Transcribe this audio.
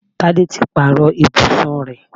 Tádé ti pàrọ̀ ibùsùn rẹ̀